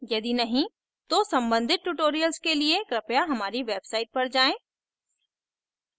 यदि नहीं तो सम्बंधित tutorials के लिए कृपया हमारी website पर जाएँ